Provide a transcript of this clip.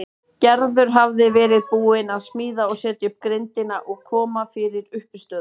Gerður hafði verið búin að smíða og setja upp grindina og koma fyrir uppistöðum.